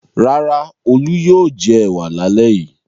Rárá, Olú yóò jẹ ẹ̀wà lálẹ́ yìí.